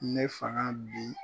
Ne faga bi